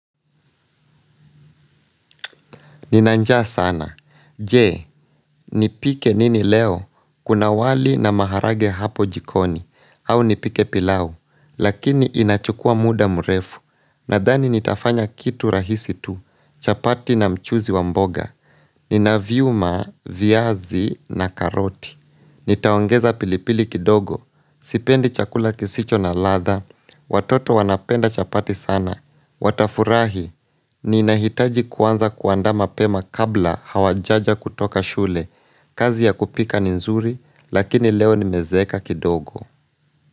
Nina njaa sana, je, nipike nini leo, kuna wali na maharage hapo jikoni, au nipike pilau, lakini inachukua muda mrefu, nadhani nitafanya kitu rahisi tu, chapati na mchuzi wa mboga, nina vyuma, viazi na karoti. Nitaongeza pilipili kidogo, sipendi chakula kisicho na ladha, watoto wanapenda chapati sana, watafurahi, ninahitaji kuanza kuandaa mapema kabla hawajaja kutoka shule, kazi ya kupika ni nzuri, lakini leo nimezeeka kidogo.